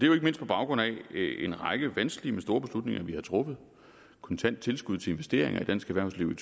jo ikke mindst på baggrund af en række vanskelige store beslutninger vi har truffet kontant tilskud til investeringer i dansk erhvervsliv